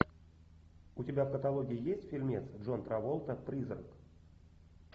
у тебя в каталоге есть фильмец джон траволта призрак